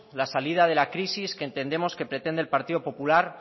la salida de la crisis que entendemos que pretende el partido popular